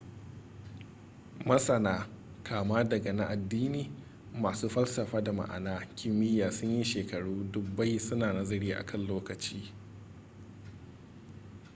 masana kama daga na addini masu falsafa da masana kimiyya sun yi shekaru dubbai su na nazari a kan lokaci